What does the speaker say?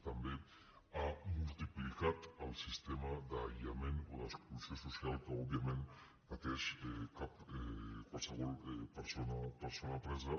també ha multiplicat el sistema d’aïllament o d’exclusió social que òbviament pateix qualsevol persona presa